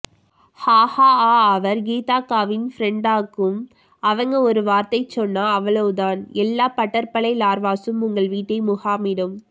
ஹாஹாஆ அவர் கீதாக்காவின் ப்ரண்டாக்கும் அவங்க ஒரு வார்த்தை சொன்னா அவ்ளோதான் எல்லா பட்டர்ப்பலை லார்வாசும் உங்க வீட்டை முகாமிடும்